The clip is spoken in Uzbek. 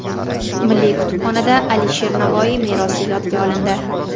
Milliy kutubxonada Alisher Navoiy merosi yodga olindi.